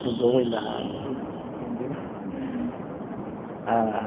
Cruzou o olhar aí, entendeu?